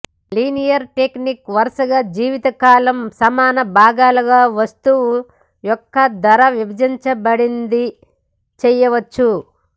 linear technique వరుసగా జీవితకాలం సమాన భాగాలుగా వస్తువు యొక్క ధర విభజించబడింది చేయవచ్చు